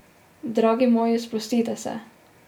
Dragi moji, sprostite se!